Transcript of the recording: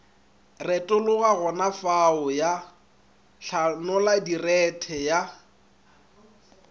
retologa gonafao ya hlanoladirethe ya